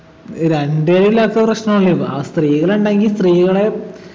ഏർ രണ്ടുപേരില്ലാത്ത പ്രശ്നല്ലേന്ന് ആ സ്ത്രീകളുണ്ടെങ്കി സ്ത്രീകളെ